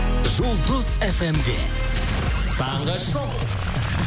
жұлдыз фм де таңғы шоу